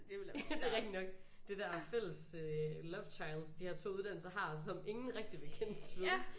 Det er rigtig nok. Det der fælles øh lovechild de her 2 uddannelser har som ingen rigtig vil kendes ved